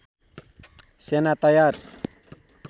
सेना तयार